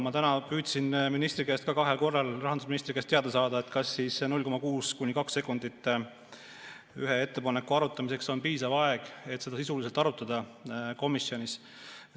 Ma täna püüdsin rahandusministri käest kahel korral teada saada, kas 0,6–2 sekundit ühe ettepaneku sisuliseks arutamiseks komisjonis on piisav aeg.